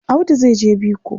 Audu zai je biko.